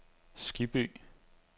Skibby